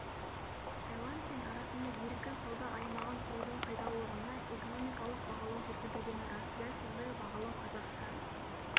таиланд пен арасында еркін сауда аймағын құрудың пайдалылығына экономикалық бағалау жүргізілгені рас дәл сондай бағалау қазақстан